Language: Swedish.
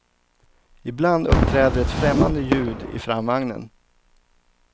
Ibland uppträder ett främmande ljud i framvagnen.